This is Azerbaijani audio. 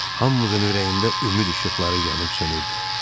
Hamımızın ürəyində ümid işıqları yanıb sönürdü.